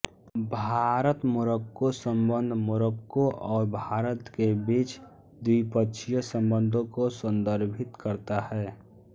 भारतमोरक्को संबंध मोरक्को और भारत के बीच द्विपक्षीय संबंधों को संदर्भित करता है